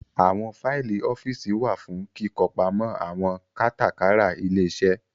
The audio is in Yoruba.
Àwọn Faìlì ọ́fíìsì wá fún kíkọ pamọ àwọn kátàkárà ilé-iṣẹ́